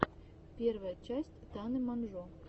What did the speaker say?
первая часть таны монжо